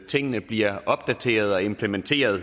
tingene bliver opdateret og implementeret